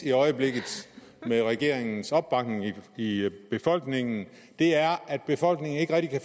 i øjeblikket med regeringens opbakning i i befolkningen er at befolkningen ikke rigtig